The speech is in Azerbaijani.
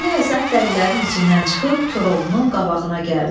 Dəli Həsən dəlilərin içindən çıxıb Koroğlunun qabağına gəldi.